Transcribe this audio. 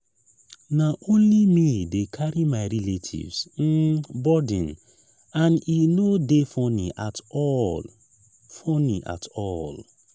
na only me dey carry my relatives um burden and e no dey funny at all. funny at all.